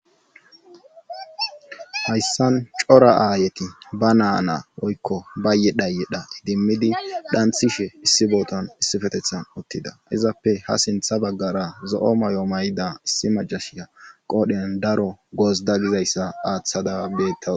hayssan cora aayeti ba naana woykko ba ye dhaye dha idimmidi dhanthishe issi booton issifetethan uttida izappe ha sintha baggara zo7o may7o may7da issi majashiya qoodhen daro gosda gizayssa aaththada bettas